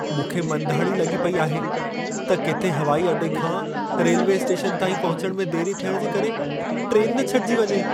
मूंखे मंधाणी लॻी पेई आहे त किथे हवाई अॾे खां रेल्वे स्टेशन ताईं पहुचण में देरि थियण जे करे ट्रेन न छॾिजी वञे।